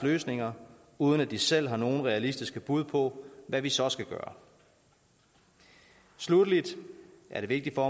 løsninger uden at de selv har nogen realistiske bud på hvad vi så skal gøre sluttelig er det vigtigt for